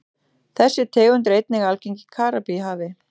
Þessi tegund er einnig algeng í Karíbahafi.